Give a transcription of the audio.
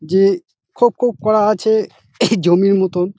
যে খোপ খোপ করা আছে এই জমির মতন।